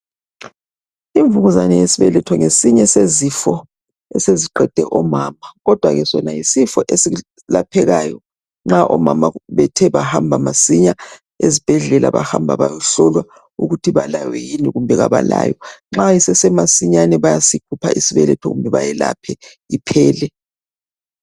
Imvukuzane yesibeletho ngesinye sezifo eseziqede omama kodwa sona yisifo eselaphekayo nxa omama bethe bahamba masinya esibhedlela bahamba bayohlolwa ukuthi balayo yini kumbe abalayo. Nxa kusesemasinyane bayasikhupha isibeletho kumbe beyelapha iphele.